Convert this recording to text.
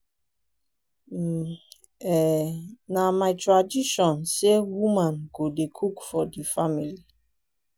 um um na my tradition sey woman go dey cook for di family.